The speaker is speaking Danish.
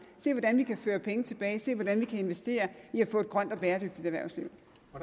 se hvordan vi kan føre penge tilbage se hvordan vi kan investere i at få et grønt og bæredygtigt erhvervsliv